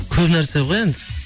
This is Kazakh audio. көп нәрсе ғой енді